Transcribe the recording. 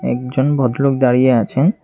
একজন ভদ্রলোক দাঁড়িয়ে আছেন।